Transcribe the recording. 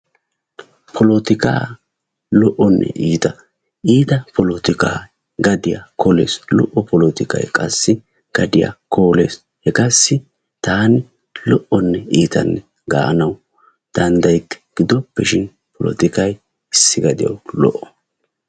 Poletikaa lo"onne iita, iita polotika gadiyaa kooles lo"o polotikay qassi gadiyaa kooles hegaassi taani lo"onne iita gaanawu dandayikke gidoppeshin polotikay issi gadiyawu lo"o.